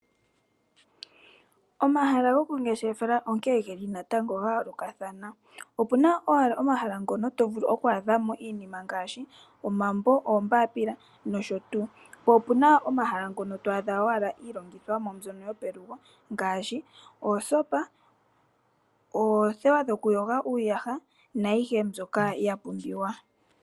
Omahala gomangeshefelo oga yoolokathana, opu na omahala ngono to vulu okwa adhamo iinima ngaashi omambo, oombapila nosho tuu. Po opu na omahala ngono twaadhamo iilongithomwa yopelugo ngaashi oosopa, oothewa dhokuyoga iiyaha nayihe mbyoka ya pumbiwa.